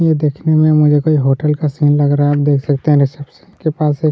ये देखने मुझे होटल कोई सीन लग रहा है आप देख सकते है रिसेप्शन के पास एक--